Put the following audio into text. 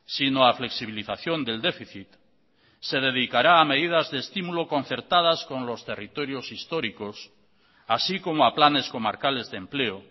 sino a flexibilización del déficit se dedicará a medidas de estímulo concertadas con los territorios históricos así como a planes comarcales de empleo